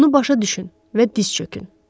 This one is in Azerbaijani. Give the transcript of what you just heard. Bunu başa düşün və diz çökün.